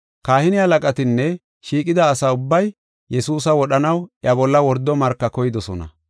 Kahine halaqatinne shiiqida asa ubbay Yesuusa wodhanaw iya bolla wordo marka koydosona.